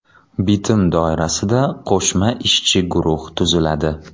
Bitim doirasida qo‘shma ishchi guruh tuziladi.